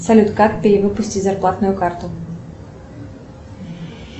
салют как перевыпустить зарплатную карту